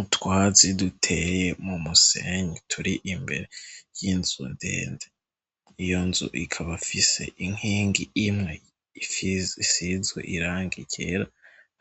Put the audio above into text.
Utwazi duteye mu musenyi turi imbere y'inzu ndende iyo nzu ikaba fise inkingi imwe ifisizwe iranga irera